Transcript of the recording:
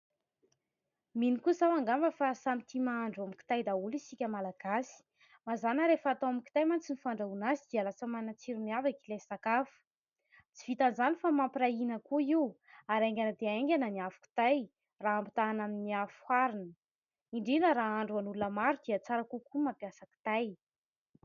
mino kosa aho angamba fa samy tia mahandro amin'ny kitay daholo isika malagasy ,mazàna rehefa atao amin'ny kitay mantsy ny fandrahoana azy dia lasa manan-tsiro miavaka ilay sakafo, tsy vitan 'izany fa mampiarahina koa io ary aingana dia aingana ny afo kitay raha hampitahana amin'ny afo arina indrindra raha hahandroan'olona maro dia tsara kokoa mampiasa kitay